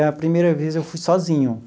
A primeira vez, eu fui sozinho.